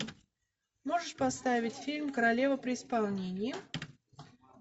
можешь поставить фильм королева при исполнении